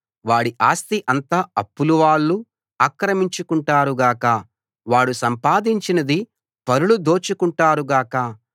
వాడి ఆస్తి అంతా అప్పులవాళ్ళు ఆక్రమించుకుంటారు గాక వాడు సంపాదించినది పరులు దోచుకుంటారు గాక